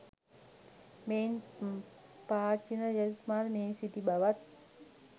මෙයින් පාචීන රජතුමා ද මෙහි සිටි බවත්